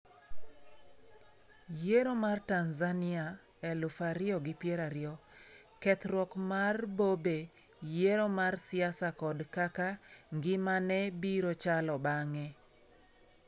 Yiero ma Tanzania 2020 :Kethruok mar Bobe yiero mar siasa kod kaka ngimane biro chalo bang'e